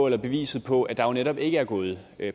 er beviset på at der jo netop ikke er gået